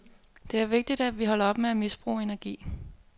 Det er vigtigt, at vi holder op med at misbruge energi.